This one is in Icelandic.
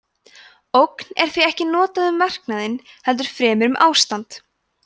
ógn er því ekki notað um verknaðinn heldur fremur um ástand